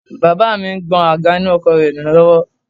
Baba mi ń gbọn àga inú ọkọ̀ rẹ nù lọ́wọ́